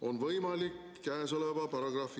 on võimalik käesoleva paragrahvi ...